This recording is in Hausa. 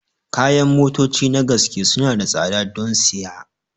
Kayan motoci na gaske suna da tsada don siya